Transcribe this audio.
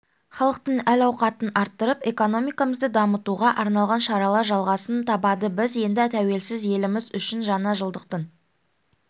халықтың әл-ауқатын арттырып экономикамызды дамытуға арналған шаралар жалғасын табады біз енді тәуелсіз еліміз үшін жаңа жылдықтың